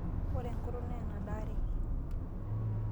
Ore enkutuk naa enadaareki.